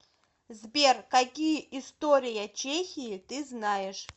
сбер какие история чехии ты знаешь